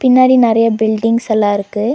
பின்னாடி நறைய பில்டிங்ஸ் எல்லா இருக்கு.